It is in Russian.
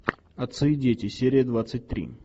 отцы и дети серия двадцать три